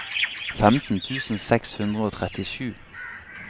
femten tusen seks hundre og trettisju